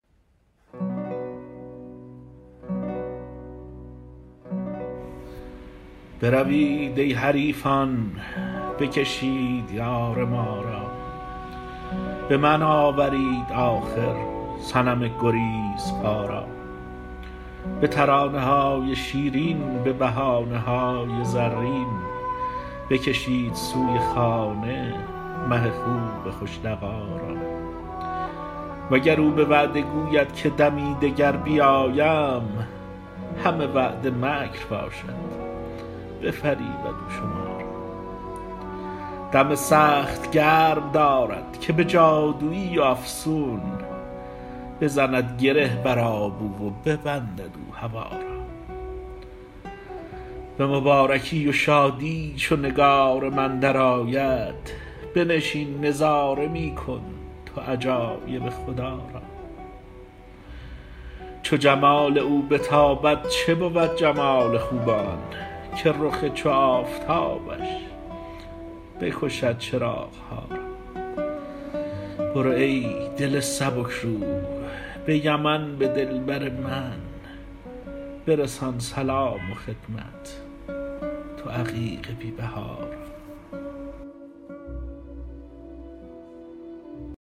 بروید ای حریفان بکشید یار ما را به من آورید آخر صنم گریزپا را به ترانه های شیرین به بهانه های زرین بکشید سوی خانه مه خوب خوش لقا را وگر او به وعده گوید که دمی دگر بیایم همه وعده مکر باشد بفریبد او شما را دم سخت گرم دارد که به جادوی و افسون بزند گره بر آب او و ببندد او هوا را به مبارکی و شادی چو نگار من درآید بنشین نظاره می کن تو عجایب خدا را چو جمال او بتابد چه بود جمال خوبان که رخ چو آفتابش بکشد چراغ ها را برو ای دل سبک رو به یمن به دلبر من برسان سلام و خدمت تو عقیق بی بها را